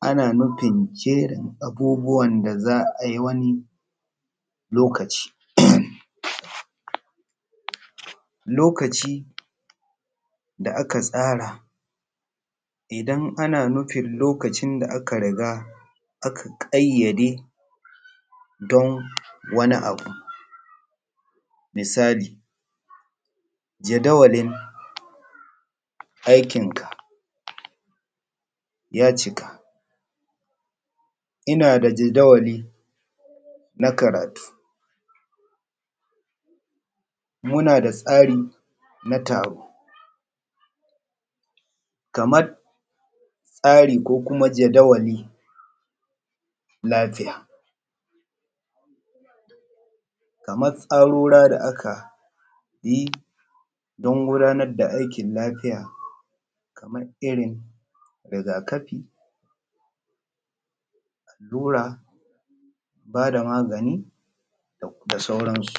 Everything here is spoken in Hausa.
ana nufin ke abubbuwan da za a yi wani lokaci, lokaci da aka tsara idan ana nufin lokacin da aka riga aka ƙayyade don wani abu, misali jadawalin aikin ka ya cika, ina da jadawali na karatu, muna da tsari na taro kamar tsari ko kuma jadawali, lafiya kamar tsarora da aka yi don gudanar da aikin lafiya kamar irin rigakafi, allura ba da magani da sauransu.